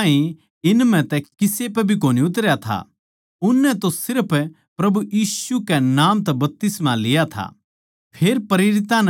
क्यूँके वो इब ताहीं इन म्ह तै किसे पै भी कोनी उतरया था उननै तो सिर्फ प्रभु यीशु कै नाम तै बपतिस्मा लिया था